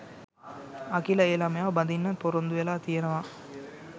අකිල ඒ ළමයාව බඳින්නත් ‍පොරොන්දු වෙලා තියෙනවා